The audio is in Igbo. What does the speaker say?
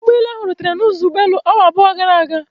Ụgbọelu ahụ rutere n'ụzọ ụgbọelu awa abụọ gara aga.